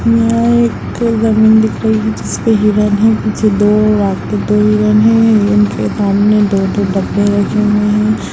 जिसपे दो हिरण है।